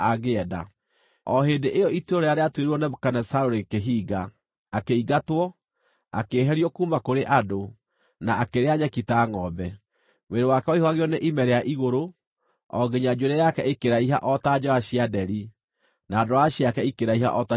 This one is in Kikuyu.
O hĩndĩ ĩyo ituĩro rĩrĩa rĩatuĩrĩirwo Nebukadinezaru rĩkĩhinga. Akĩingatwo, akĩeherio kuuma kũrĩ andũ, na akĩrĩa nyeki ta ngʼombe. Mwĩrĩ wake waihũgagio nĩ ime rĩa igũrũ, o nginya njuĩrĩ yake ĩkĩraiha o ta njoya cia nderi, na ndwara ciake ikĩraiha o ta cia nyoni.